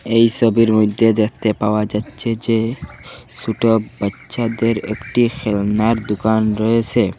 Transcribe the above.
এই সবির মইধ্যে দেখতে পাওয়া যাচ্ছে যে ছোট বাইচ্চাদের একটি খেলনার দুকান রয়েসে।